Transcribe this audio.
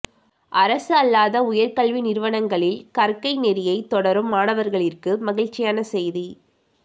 அரசு அல்லாத உயர் கல்வி நிறுவனங்களில் கற்கை நெறியைத் தொடரும் மாணவர்களிற்கு மகிழ்ச்சியான செய்தி